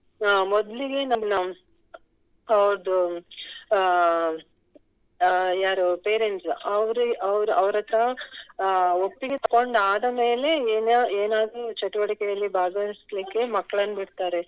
ಅಹ್ ಮೊದ್ಲಿಗೆ ನನ್ನ ಅವ್ರ್ದು ಅಹ್ ಅಹ್ ಯಾರು parents ಅವ್ರೆ ಅವರು ಅವರಹತ್ರ ಅಹ್ ಒಪ್ಪಿಗೆ ತೊಕೊಂಡ್ ಆದಮೇಲೆ ಎನ~ ಏನಾದ್ರೂ ಚಟುವಟಿಕೆಯಲ್ಲಿ ಭಾಗವಹಿಸಿಲಿಕ್ಕೆ ಮಕ್ಳನ್ನು ಬಿಡ್ತಾರೆ